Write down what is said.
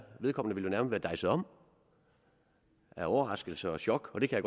vedkommende nærmest var dejset om af overraskelse og chok og det kan